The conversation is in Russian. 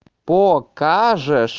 покажешь